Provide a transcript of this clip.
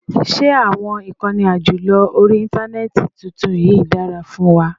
Ṣé àwọn ìkànnì àjọlò orí Íńtánẹ́ẹ̀tì tuntun yìí dára fún wa?